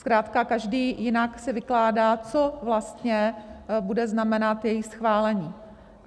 Zkrátka každý jinak si vykládá, co vlastně bude znamenat její schválení.